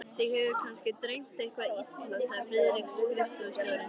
Þig hefur kannski dreymt eitthvað illa, sagði Friðrik skrifstofustjóri.